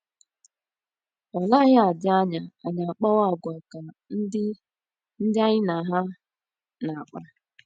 Ọ naghị adị anya anyị akpawa àgwà ka ndị ndị anyị na ha na - akpa.